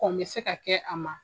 Kon bɛ se ka kɛ a ma.